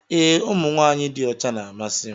Ee ụmụ nwanyị dị ọcha na-amasị m